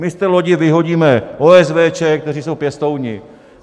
My z té lodi vyhodíme OSVČ, kteří jsou pěstouni.